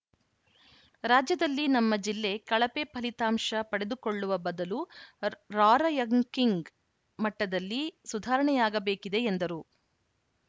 ರಾಜ್ಯದಲ್ಲಿ ನಮ್ಮ ಜಿಲ್ಲೆ ಕಳಪೆ ಫಲಿತಾಂಶ ಪಡೆದುಕೊಳ್ಳುವ ಬದಲು ರಾರ‍ಯಂಕಿಂಗ್‌ ಮಟ್ಟದಲ್ಲಿ ಸುಧಾರಣೆಯಾಗಬೇಕಿದೆ ಎಂದರು